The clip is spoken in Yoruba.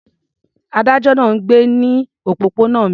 Adájọ́ náà ń gbé ní òpópónà mi.